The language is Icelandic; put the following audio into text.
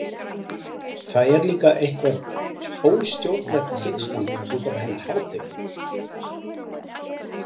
Það er líka eitthvert óstjórnlegt tilstand útaf hennar hátign.